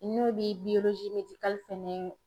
N'o bi biyolozi medikali kɔnɔna na